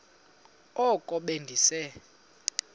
oko be ndise